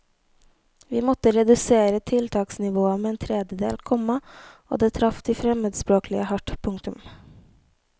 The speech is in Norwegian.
Vi måtte redusere tiltaksnivået med en tredjedel, komma og det traff de fremmedspråklige hardt. punktum